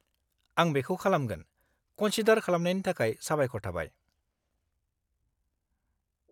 आं बेखौ खालामगोन, कन्सिडार खालामनायनि थाखाय साबायखर थाबाय!